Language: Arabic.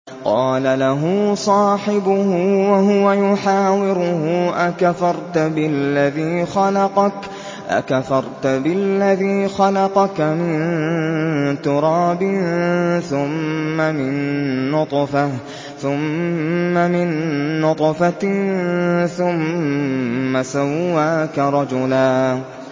قَالَ لَهُ صَاحِبُهُ وَهُوَ يُحَاوِرُهُ أَكَفَرْتَ بِالَّذِي خَلَقَكَ مِن تُرَابٍ ثُمَّ مِن نُّطْفَةٍ ثُمَّ سَوَّاكَ رَجُلًا